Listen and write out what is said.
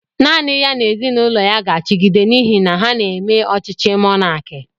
Nanị ya n'ezinụlọ ya ga achigide n'ihi na ha n'eme ọchịchị mọnaki